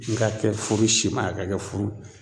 N ka kɛ furu sima a ka kɛ furu